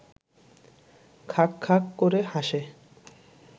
খাঁক খাঁক করে হাসে